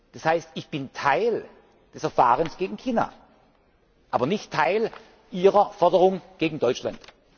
Das heißt Ich bin Teil des Verfahrens gegen China, aber nicht Teil ihrer Forderung gegen Deutschland.